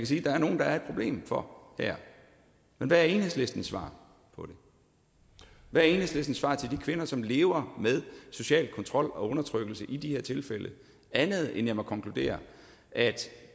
sige at der er nogle der er et problem for her men hvad er enhedslistens svar på det hvad er enhedslistens svar til de kvinder som lever med social kontrol og undertrykkelse i de tilfælde andet end at jeg må konkludere at